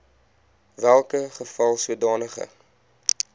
welke geval sodanige